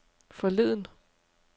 forleden